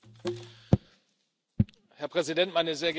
Herr Präsident, meine sehr geehrten Damen und Herren!